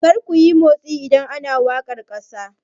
Kar kuyi motsi idan ana wakar kasa!